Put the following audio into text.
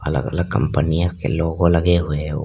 अलग अलग कंपनियों के लोगो लगे हुए हो।